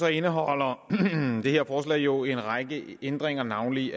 indeholder det her forslag jo en række ændringer af navnlig